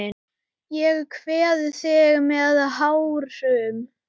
Ég kveð þig með tárum.